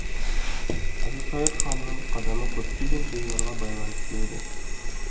әбілқайыр ханның қадамы көптеген жайларға байланысты еді